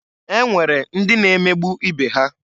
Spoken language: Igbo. E nwere ndị na emegbu ibe ha.